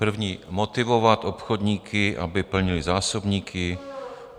První: motivovat obchodníky, aby plnili zásobníky.